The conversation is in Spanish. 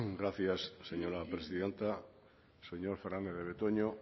gracias señora presidenta señor fernandez de betoño